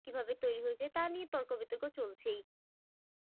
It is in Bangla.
কিভাবে তৈরি হয়েছে তা নিয়ে তর্ক বিতর্ক চলছেই।